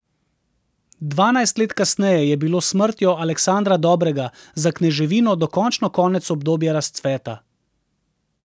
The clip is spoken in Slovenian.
Dvanajst let kasneje je bilo s smrtjo Aleksandra Dobrega za kneževino dokončno konec obdobja razcveta.